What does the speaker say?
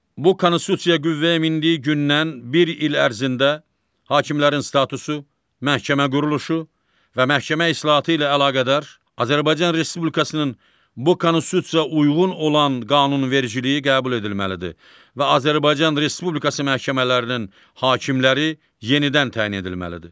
Bu Konstitusiya qüvvəyə mindiyi gündən bir il ərzində hakimlərin statusu, məhkəmə quruluşu və məhkəmə islahatı ilə əlaqədar Azərbaycan Respublikasının bu Konstitusiyaya uyğun olan qanunvericiliyi qəbul edilməlidir və Azərbaycan Respublikası məhkəmələrinin hakimləri yenidən təyin edilməlidir.